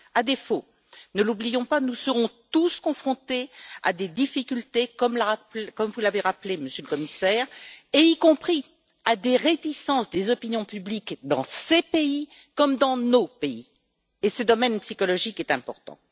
À défaut, ne l'oublions pas, nous serons tous confrontés à des difficultés, comme vous l'avez rappelé, Monsieur le Commissaire, y compris à des réticences des opinions publiques dans ces pays comme dans nos pays, et ce domaine psychologique est important.